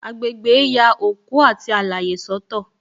Agbegbe ya òkú àti alaye soto